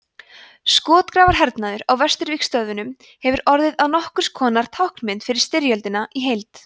skotgrafahernaðurinn á vesturvígstöðvunum hefur orðið að nokkurs konar táknmynd fyrir styrjöldina í heild